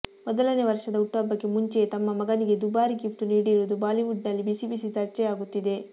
ಮೊದಲನೇ ವರ್ಷದ ಹುಟ್ಟುಹಬ್ಬಕ್ಕೆ ಮುಂಚೆಯೇ ತಮ್ಮ ಮಗನಿಗೆ ದುಬಾರಿ ಗಿಫ್ಟ್ ನೀಡಿರುವುದು ಬಾಲಿವುಡ್ ನಲ್ಲಿ ಬಿಸಿಬಿಸಿ ಚರ್ಚೆಯಾಗುತ್ತಿದೆ